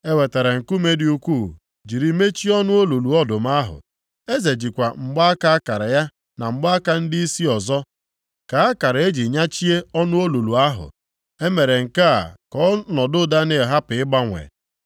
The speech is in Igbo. E wetara nkume dị ukwuu jiri mechie ọnụ olulu ọdụm ahụ. Eze jikwa mgbaaka akara ya na mgbaaka ndịisi ọzọ kaa akara e ji nyachie ọnụ olulu ahụ. E mere nke a ka ọnọdụ Daniel hapụ ịgbanwe.